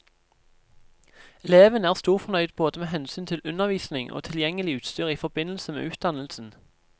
Eleven er storfornøyd både med hensyn til undervisning og tilgjengelig utstyr i forbindelse med utdannelsen.